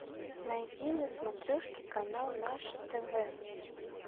найди на смотрешке канал наше тв